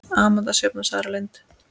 Amanda Sjöfn og Sara Lind.